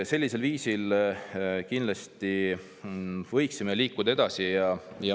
Sellisel viisil kindlasti võiksime liikuda edasi.